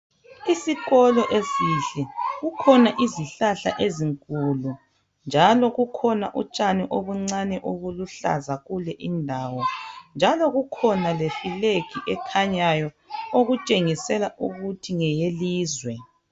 Isikolo esihle kukhona izihlahla ezinkulu njalo kukhona utshani obuncane obuluhlaza kule indawo njalo kukhona lefilegi ekhanyayo okutshengisela ukuthi ngeyelizwe